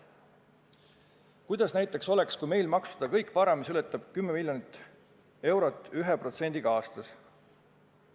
Kuidas oleks, kui meil maksustada näiteks vara, mille väärtus on 10 miljonit eurot, 1%-ga aastas?